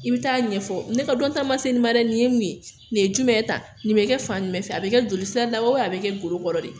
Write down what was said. I bɛ taa ɲɛ fɔ , ne ka dɔn ta ma se nin ma dɛ, nin ye min ye nin ye jumɛn ta nin bɛ kɛ fan fɛ a bɛ kɛ jolisa da a bɛ kɛ golo kɔrɔ de.